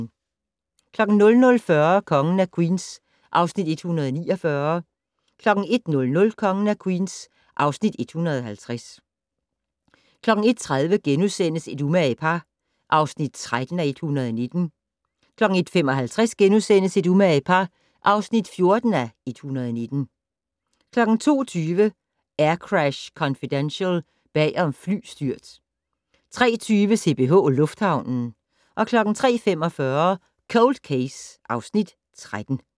00:40: Kongen af Queens (Afs. 149) 01:00: Kongen af Queens (Afs. 150) 01:30: Et umage par (13:119)* 01:55: Et umage par (14:119)* 02:20: Aircrash Confidential - bag om flystyrt 03:20: CPH Lufthavnen 03:45: Cold Case (Afs. 13)